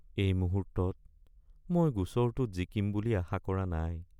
এই মুহূৰ্তত মই গোচৰটোত জিকিম বুলি আশা কৰা নাই